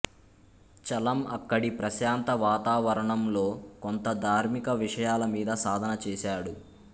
చలం అక్కడి ప్రశాంత వాతావరణంలో కొంత ధార్మిక విషయాల మీద సాధన చేశాడు